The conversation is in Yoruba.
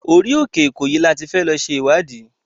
Orí òkè Ìkòyí ni a ti fẹ́ lọ ṣe ìwádìí.